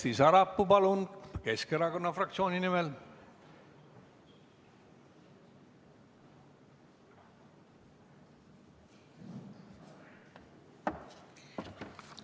Kersti Sarapuu, palun, Keskerakonna fraktsiooni nimel!